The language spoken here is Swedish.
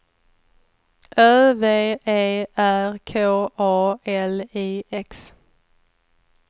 Ö V E R K A L I X